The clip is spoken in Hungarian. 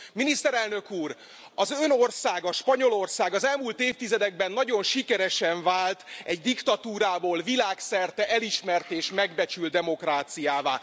Miniszterelnök úr, az Ön országa, Spanyolország az elmúlt évtizedekben nagyon sikeresen vált diktatúrából világszerte elismert és megbecsült demokráciává.